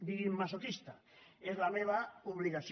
digui’m masoquista és la meva obligació